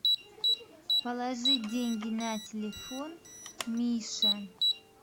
положи деньги на телефон миша